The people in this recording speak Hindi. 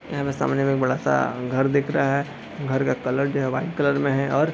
यह हमे सामने में एक बड़ा सा घर दिख रहा है। घर का कलर जो है वाइट कलर में है। और --